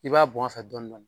I b'a bɔn a fɛ dɔndɔni